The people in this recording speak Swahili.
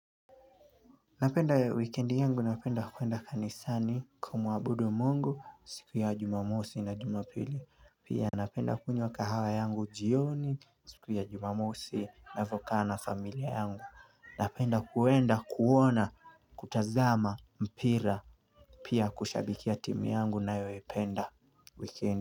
Napenda ya weekendi yangu napenda kuenda kanisani kumuabudu mungu siku ya jumamosi na jumapili pia napenda kunywa kahawa yangu jioni siku ya jumamosi nina vokaa na familia yangu Napenda kuenda kuona kutazama mpira pia kushabikia timu yangu ninayo ipenda weekendi.